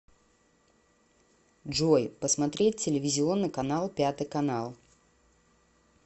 джой посмотреть телевизионный канал пятый канал